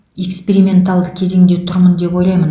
эксперименталды кезеңде тұрмын деп ойлаймын